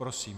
Prosím.